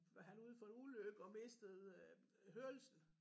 Var han ude for en ulykke og mistede hørelsen